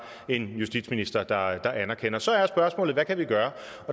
en justitsminister der anerkender det så er spørgsmålet hvad kan vi gøre